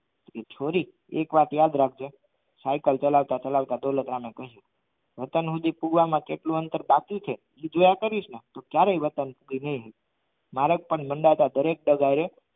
છોરી એક વાત યાદ રાખજે દોલતરામ એ કહ્યું વતન સુધી કૂવામાં કેટલું અંદર બાકી છે એ જોયા કરીસને તો ક્યારે વતન નહી રે મરેક પણ દરેક ન દરે